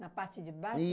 Na parte de baixo?